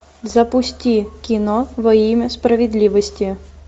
запусти кино во имя справедливости